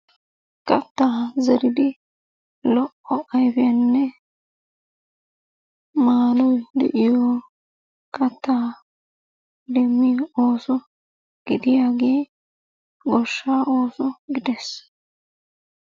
Kattaa zeridi lo"o ayfiyanne maadoy de'iyo keettaa demmiyo ooso gidiyaagee goshshaa ooso gidees.